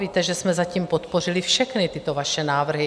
Víte, že jsme zatím podpořili všechny tyto vaše návrhy.